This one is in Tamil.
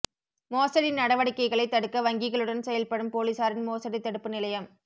மோசடி நடவடிக்கைகளைத் தடுக்க வங்கிகளுடன் செயல்படும் போலிசாரின் மோசடி தடுப்பு நிலையம்